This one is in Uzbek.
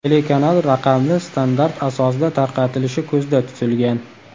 Telekanal raqamli standart asosida tarqatilishi ko‘zda tutilgan.